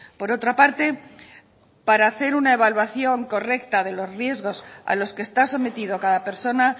por otra parte para hacer una evaluación correcta de los riesgos a los que está sometido cada persona